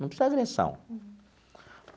Não precisa agressão.